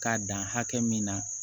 K'a dan hakɛ min na